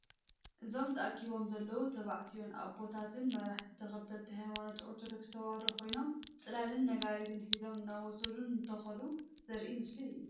እዞም ተአኪቦም ዘለዎ ተባዕትዮን አቦታትን መራሕቲ ተከተልቲ ሃይማኖት አርቶዶክስ ተዋህዶ ኮይኖም ፅላልን ነጋሪትን ሒዞም እናወደሱ እንትከዱ ዘሪኢ ምስሊ እዩ ።